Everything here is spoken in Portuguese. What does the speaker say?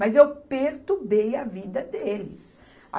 Mas eu perturbei a vida deles.